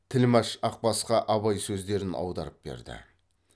тілмәш ақбасқа абай сөздерін аударып берді